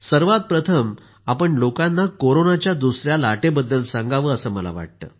सर्वात प्रथम आपण लोकांना कोरोनाच्या दुसऱ्या लाटेबद्दल सांगावं असं मला वाटतं